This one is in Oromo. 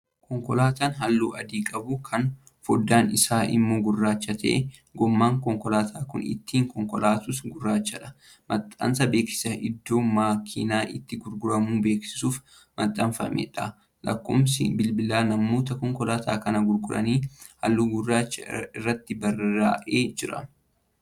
Konkolaataa halluu adii qabu Kan foddaan Isaa immoo gurraacha ta'edha. gommaan konkolaataan Kuni ittiin konkolaatus gurraachadha. maxxansa beeksisa iddoo makiinaan itti gurguramu beeksisuuf maxxanfameedha. lakkoofsi bilbilaa namoota konkolaataa kana gurguranii halluu gurraachan irratti barraa'ee Jira.